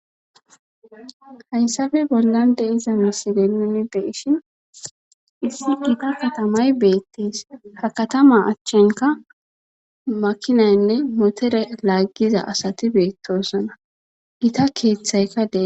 haysafe bollan de iza misideeni beeshin issi gita katamay beettees ha katama achchenka makinaynne motere laaggiza asati beettosana ita keeththayka des